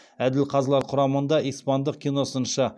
әділ қазылар құрамында испандық киносыншы